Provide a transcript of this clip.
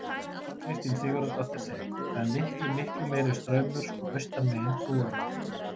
Kristín Sigurðardóttir segir: „Það er miklu, miklu meiri straumur sko austan megin brúarinnar“.